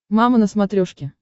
мама на смотрешке